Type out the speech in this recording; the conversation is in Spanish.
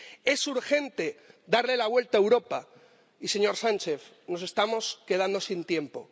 Es urgente darle la vuelta a Europa y, señor Sánchez, nos estamos quedando sin tiempo.